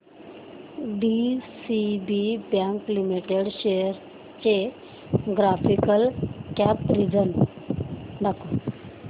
DCB bank limited shares चे graphical comparison दाखव